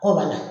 K'o banna